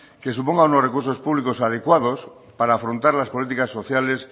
que supongan unos recursos públicos adecuados para afrontar las políticas sociales